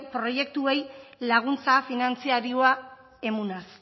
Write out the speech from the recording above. proiektuei laguntza finantzariua emunaz